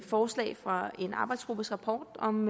forslag fra en arbejdsgruppes rapport om